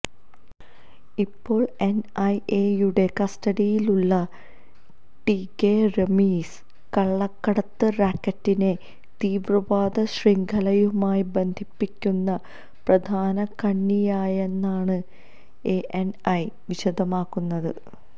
ഇപ്പോള് എന് ഐഎയുടെ കസ്റ്റഡിയിലുള്ള ടികെ റമീസ് കള്ളക്കടത്ത് റാക്കറ്റിനെ തീവ്രവാദ ശൃംഖലയുമായി ബന്ധിപ്പിക്കുന്ന പ്രധാന കണ്ണിയായാണെന്നാണ് എഎന്ഐ വിശദമാക്കുന്നത്